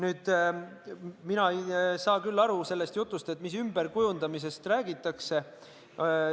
Ja mina ei saa küll aru sellest jutust, mis ümberkujundamisest räägitakse.